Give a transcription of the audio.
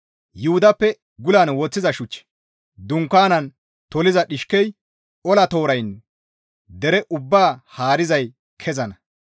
Yuhudappe gulan woththiza shuchchi, dunkaane toliza dhishkey, ola tooraynne dere ubbaa haarizay kezana.